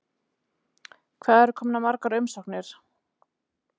Hvað eru komnar margar umsóknir?